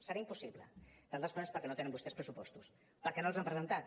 serà impossible entre altres coses perquè no tenen vostès pressupostos perquè no els han presentat